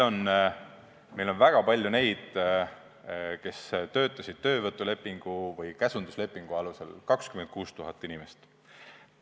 Meil on väga palju neid, kes töötasid töövõtulepingu või käsunduslepingu alusel: 26 000 inimest.